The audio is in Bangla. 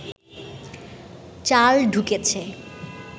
চাল ঢুকেছে